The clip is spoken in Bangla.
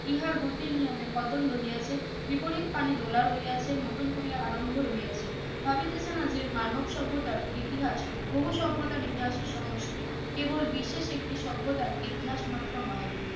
ইহার গতির নিয়মে ভদল রইয়াছে বিপরিত পানি দোলা রইয়াছে নতুন করিয়া আরম্ভ রইয়াছে ভাবিতেছে না যে মানব সভ্যতার ইতিহাস বহু সভ্যতার ইতিহাসের সমষ্টি কেবল বিশেষ একটি সভ্যতার ইতিহাস মাত্র নহে